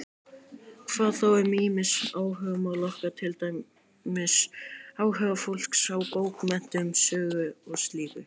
Hvað þá um ýmis áhugamál okkar, til dæmis áhuga fólks á bókmenntum, sögu og slíku?